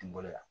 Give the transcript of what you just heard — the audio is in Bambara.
N bolo yan